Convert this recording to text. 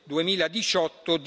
2018